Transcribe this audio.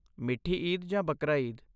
ਮਿੱਠੀ ਈਦ ਜਾਂ ਬਕਰਾ ਈਦ?